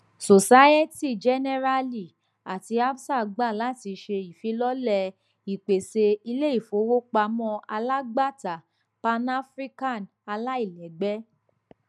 societe generale ati absa gba lati ṣe ifilọlẹ ipese ileifowopamọ alagbata panafrican alailẹgbẹ